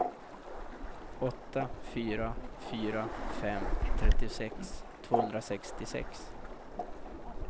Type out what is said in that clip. åtta fyra fyra fem trettiosex tvåhundrasextiosex